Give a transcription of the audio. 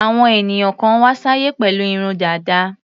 Àwọn ènìyàn kan wá sáyé pẹ̀lú irun dàda.